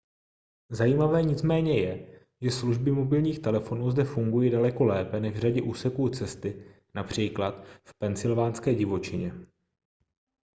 zajímavé nicméně je že služby mobilních telefonů zde fungují daleko lépe než v řadě úseků cesty např v pensylvánské divočině